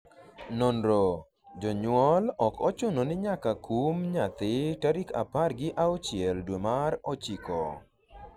nonro: jonyuol ok ochuno ni nyaka kum nyathi tarik apar gi auchiel dwe mar ochiko